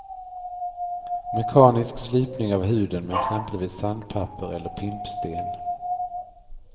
Mekanisk slipning av huden med exempelvis sandpapper eller pimpsten.